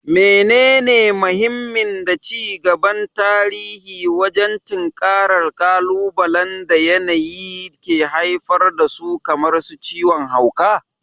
Menene mahimmin da ci gaban tarihi wajen tinkarar ƙalubalen da yanayi ke haifar da su kamar ciwon hauka?